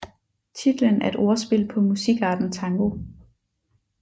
Titlen er et ordspil på musikarten tango